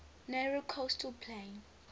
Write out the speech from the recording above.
narrow coastal plain